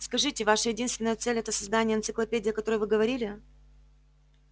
скажите ваша единственная цель это создание энциклопедии о которой вы говорили